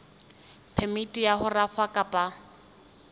phemiti ya ho rafa kapa